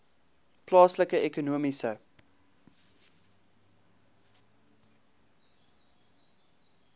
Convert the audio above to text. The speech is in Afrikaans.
plaaslike ekonomiese